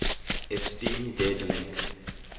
esteem dead link